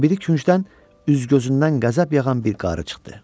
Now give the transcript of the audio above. O biri küncdən üz-gözündən qəzəb yağan bir qarı çıxdı.